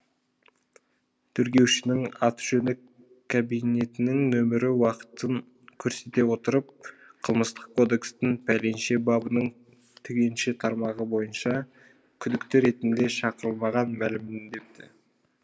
тергеушінің аты жөні кабинетінің нөмірі уақытын көрсете отырып қылмыстық кодекстің пәленше бабының түгенше тармағы бойынша күдікті ретінде шақырылмаған мәлімдеді